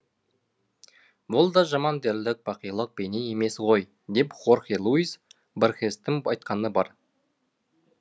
бұл да жаман дерлік бақилық бейне емес ғой деп хорхе луйс борхестің айтқаны бар